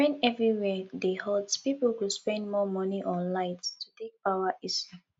when everywhere dey hot pipo go spend more money on light to take power ac